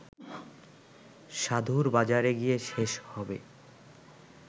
সাধুর বাজারে গিয়ে শেষ হবে